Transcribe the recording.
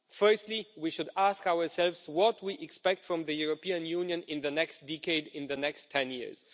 Firstly, we should ask ourselves what we expect from the European Union in the next decade, in the next 10 years.